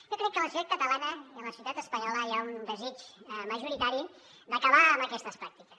jo crec que a la societat catalana i a la societat espanyola hi ha un desig majoritari d’acabar amb aquestes pràctiques